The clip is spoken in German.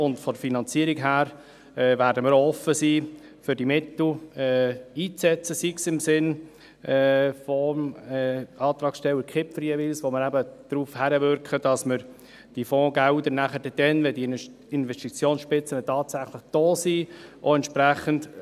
Von der Finanzierung her werden wir auch offen sein, diese Mittel einzusetzen, sei es jeweils im Sinn des Antragstellers Kipfer, wo wir eben darauf hinwirken, dass wir diese Fondsgelder nachher eben auch entsprechend einsetzen können, nämlich dann, wenn diese Investitionsspitzen tatsächlich da sind.